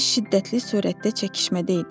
Biz şiddətli surətdə çəkişmədə idik.